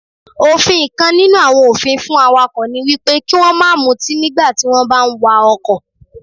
Òfin kan nínú àwọn òfin fún Awakọ̀ niwípé kí wón máa mutí nígbà tí wón bá ń wa Ọkọ̀.